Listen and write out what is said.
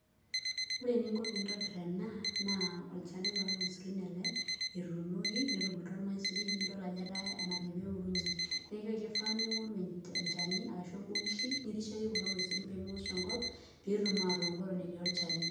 Ore eninko piintobir ena naa olchani loormaisurin ele etuunoki netubulutua irmaisurin nidol ajo etaa enajo pee ewurunye. Neeku aake ifaa niing'oru enchani arashu embokishi nirishayie kulo maisurin pee mewosh enkop peetum aatooku eton etii olchani.